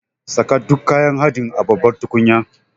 Saka duk kayan haɗin a babbar tukunya.